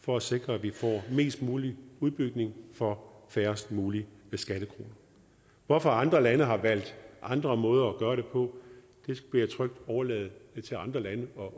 for at sikre at vi får mest mulig udbygning for færrest mulige skattekroner hvorfor andre lande har valgt andre måder at gøre det på vil jeg trygt overlade til andre lande